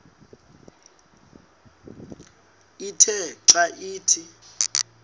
ithe xa ithi